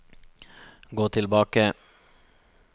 gå tilbake